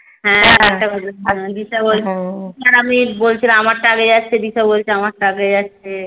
হ্যা দিশা আর আমি বলছিলাম আমার টা আগে যাচ্ছে দিশা বলছে আমার টা আগে যাচ্ছে